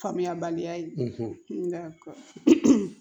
Faamuyabaliya ye nka